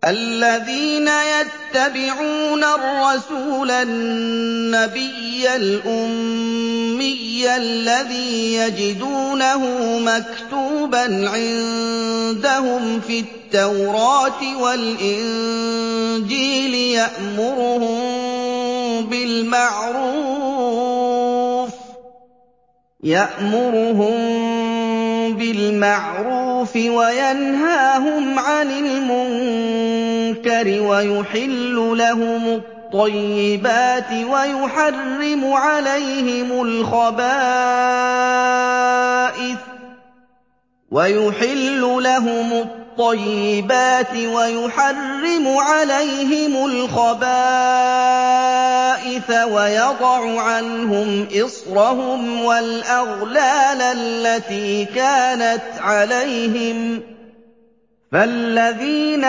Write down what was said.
الَّذِينَ يَتَّبِعُونَ الرَّسُولَ النَّبِيَّ الْأُمِّيَّ الَّذِي يَجِدُونَهُ مَكْتُوبًا عِندَهُمْ فِي التَّوْرَاةِ وَالْإِنجِيلِ يَأْمُرُهُم بِالْمَعْرُوفِ وَيَنْهَاهُمْ عَنِ الْمُنكَرِ وَيُحِلُّ لَهُمُ الطَّيِّبَاتِ وَيُحَرِّمُ عَلَيْهِمُ الْخَبَائِثَ وَيَضَعُ عَنْهُمْ إِصْرَهُمْ وَالْأَغْلَالَ الَّتِي كَانَتْ عَلَيْهِمْ ۚ فَالَّذِينَ